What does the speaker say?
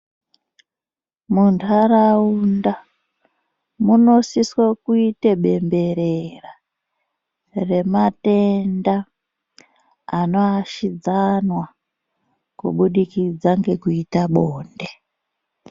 Muntaraunda munosiswe kuite bemberera rematenda anoashidzana kubudikidza ngekuita bonde.